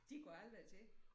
De går aldrig til